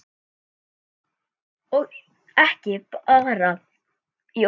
Og ekki bara í orði.